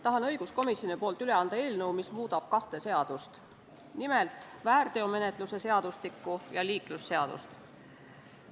Tahan õiguskomisjoni nimel üle anda eelnõu, mis muudab kahte seadust, nimelt väärteomenetluse seadustikku ja liiklusseadust.